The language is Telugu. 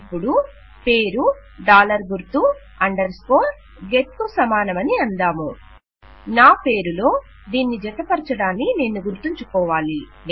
ఇపుడు పేరు డాలర్ గుర్తు అండర్ స్కోర్ గెట్ కు సమానమని అందాము నాపేరు లో దీన్ని జతపరచడాన్ని నేను గుర్తుంచుకోవాలి